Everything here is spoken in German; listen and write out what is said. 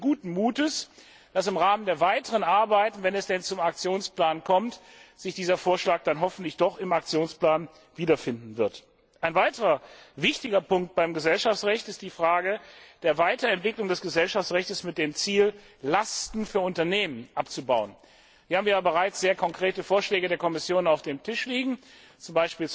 Aber wir sind guten Mutes, dass im Rahmen der weiteren Arbeit, wenn es denn zum Aktionsplan kommt, sich dieser Vorschlag dann hoffentlich im Aktionsplan wiederfinden wird. Ein weiterer wichtiger Punkt beim Gesellschaftsrecht ist die Frage der Weiterentwicklung des Gesellschaftsrechts mit dem Ziel, Lasten für Unternehmen abzubauen. Hier haben wir ja bereits sehr konkrete Vorschläge der Kommission auf dem Tisch liegen,